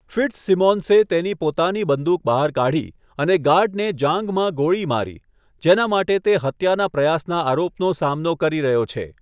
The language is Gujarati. ફિટ્ઝસિમોન્સે તેની પોતાની બંદૂક બહાર કાઢી અને ગાર્ડને જાંઘમાં ગોળી મારી, જેના માટે તે હત્યાના પ્રયાસના આરોપનો સામનો કરી રહ્યો છે.